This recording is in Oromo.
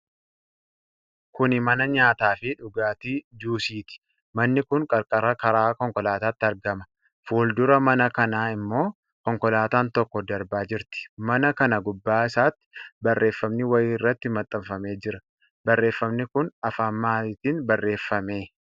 Kuni mana nyaataa fi dhugaatii juusiiti. Manni kun qarqara karaa konkolaataatti argama. Fuuldura mana kanaa ammoo konkolaataan tokko darbaa jirti. Mana kana gubbaa isaatti barreefami wayii irratti maxxanfamee jira. Barreefami kun afaan maalitiin barreeffame?